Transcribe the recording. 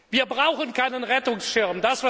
Wir brauchen keinen Rettungsschirm.